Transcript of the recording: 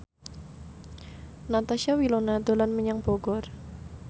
Natasha Wilona dolan menyang Bogor